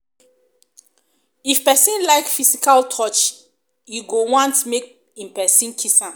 if pesin like physical touch e go want make em pesin kiss am